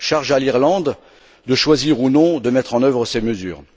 Charge à l'Irlande de choisir ou non de mettre en œuvre ces mesures.